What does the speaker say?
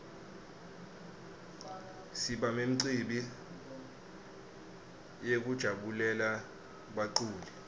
siba memcibi yekujabulela baculi